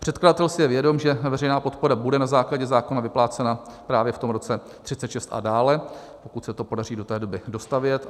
Předkladatel si je vědom, že veřejná podpora bude na základě zákona vyplácena právě v tom roce 2036 a dále, pokud se to podaří do té doby dostavět.